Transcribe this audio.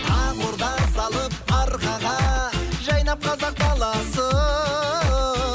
ақ орда салып арқаға жайнап қазақ даласы